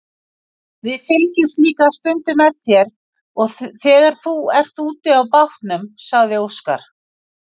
Við fylgjumst líka stundum með þér þegar þú ert úti á bátnum, sagði Óskar.